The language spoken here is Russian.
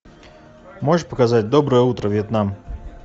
можешь показать доброе утро вьетнам